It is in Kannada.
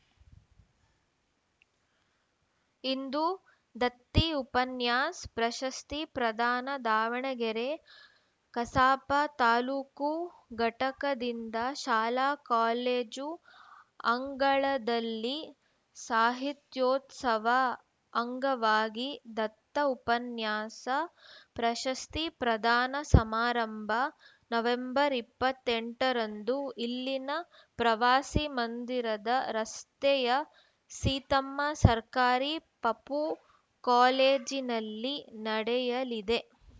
ಇಂದು ದತ್ತಿ ಉಪನ್ಯಾಸ್ ಪ್ರಶಸ್ತಿ ಪ್ರದಾನ ದಾವಣಗೆರೆ ಕಸಾಪ ತಾಲೂಕು ಘಟಕದಿಂದ ಶಾಲಾಕಾಲೇಜು ಅಂಗಳದಲ್ಲಿ ಸಾಹಿತ್ಯೋತ್ಸವ ಅಂಗವಾಗಿ ದತ್ತ ಉಪನ್ಯಾಸ ಪ್ರಶಸ್ತಿ ಪ್ರದಾನ ಸಮಾರಂಭ ನವೆಂಬರ್ ಇಪ್ಪತ್ತ್ ಎಂಟರಂದು ಇಲ್ಲಿನ ಪ್ರವಾಸಿ ಮಂದಿರದ ರಸ್ತೆಯ ಸೀತಮ್ಮ ಸರ್ಕಾರಿ ಪಪೂ ಕಾಲೇಜಿನಲ್ಲಿ ನಡೆಯಲಿದೆ